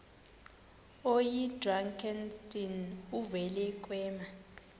oyidrakenstein uvele kwema